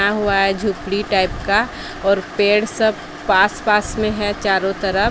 खड़ा हुआ है झोपड़ी टाइप का और पेड़ सब पास पास में है चारों तरफ--